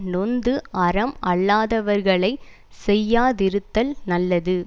நொந்து அறம் அல்லாதவர்களை செய்யாதிருத்தல் நல்லது